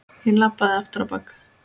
Ég labbaði aftur á bak.